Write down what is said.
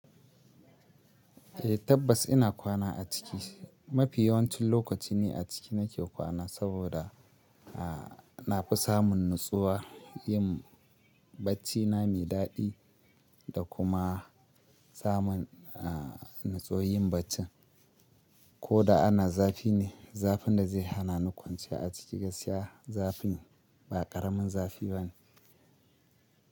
Eh tabbas ina kwana a ciki. Mafi yawancin lokaci ni aciki nake kwana saboda, a na fi samun natsuwa, yin baccina mai daɗi da kuma samun a natsuwan yin baccin. Ko da ana zafi ne, zafin da zai hana ni kwanciya a ciki gaskiya zafi ba ƙaramin zafi bane.